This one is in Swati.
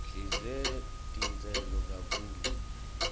sidle titselo kakhulu